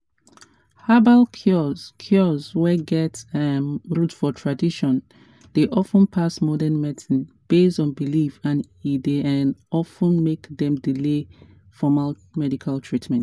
herbal cures cures wey get um root for tradition dey of ten pass modern medicine based on belief and e dey um of ten make dem delay formal medical treatment.